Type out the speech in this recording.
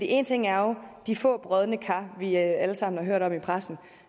en ting er jo de få brodne kar vi alle sammen har hørt om i pressen